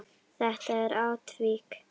Þetta er atvik.